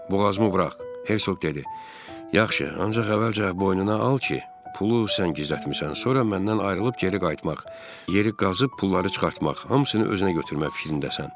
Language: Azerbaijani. Boğazımı burax, Hersoq dedi: Yaxşı, ancaq əvvəlcə boynuna al ki, pulu sən gizlətmisən, sonra məndən ayrılıb geri qayıtmaq, yeri qazıb pulları çıxartmaq, hamısını özünə götürmək fikrindəsən.